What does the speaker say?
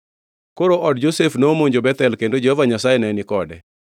Koro od Josef nomonjo Bethel, kendo Jehova Nyasaye ne ni kode.